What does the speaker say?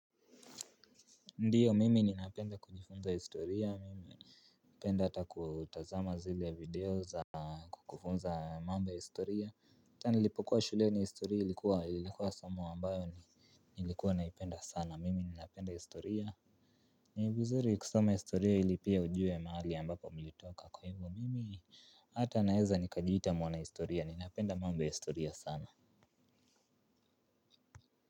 Ndiyo mimi ninapenda kujifunza historia mimi napenda hata kutazama zile video za kukufunza mambo ya historia na nilipokuwa shuleni historia ilikuwa ilikuwa somo ambalo ni nilikuwa naipenda sana mimi ninapenda historia. Ni vizuri kusoma historia ili pia ujue mahali ambapo mlitoka kwa hivyo mimi hata naeza nikajiita mwana historia ninapenda mambo ya historia sana Muzika.